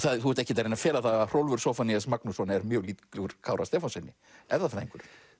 þú ert ekkert að reyna að fela það að Hrólfur Zóphanías Magnússon er mjög líkur Kára Stefánssyni erfðafræðingur